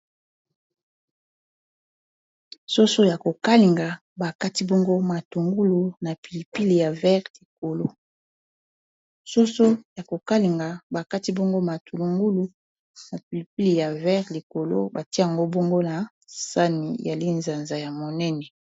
Soso ya ko kalinga ba kati bongo matulungulu na pilipili ya vert likolo, batie ngo bongo na sani ya linzanza ya monene.